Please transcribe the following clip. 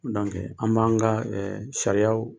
Donc an b'an ka sariya